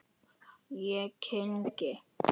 Ég kyngi.